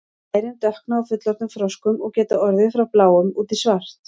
lærin dökkna á fullorðnum froskum og geta orðið frá bláum út í svart